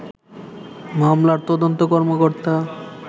মামলার তদন্ত কর্মকর্তা